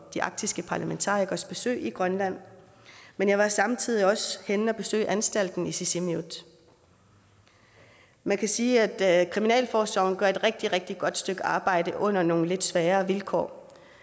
de arktiske parlamentarikeres besøg i grønland men jeg var samtidig også henne at besøge anstalten i sisimiut man kan sige at kriminalforsorgen gør et rigtig rigtig godt stykke arbejde under nogle lidt svære vilkår